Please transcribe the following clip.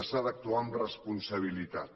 s’ha d’actuar amb responsabilitat